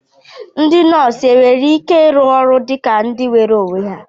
Ndị nọọsụ nwere ike ịrụ ọrụ dị ka ndị nweere onwe ha?